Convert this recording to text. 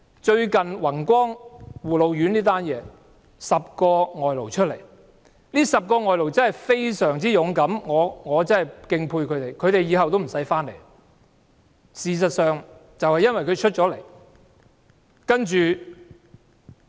最近宏光護老院有10名外勞站出來投訴，這10名外勞真的非常勇敢，我實在敬佩他們，恐怕他們往後也不用回來了。